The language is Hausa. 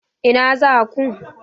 Ina za ku?